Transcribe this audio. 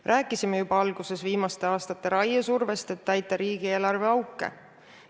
Me rääkisime täna juba viimaste aastate raiesurvest, et täita riigieelarve auke.